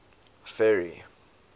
ferry